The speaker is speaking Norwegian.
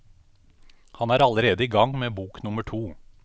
Han er allerede i gang med bok nummer to.